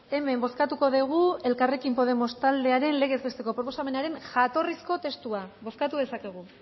hemen bozkatuko dugu elkarrekin podemos taldearen legez besteko proposamenaren jatorrizko testua bozkatu dezakegu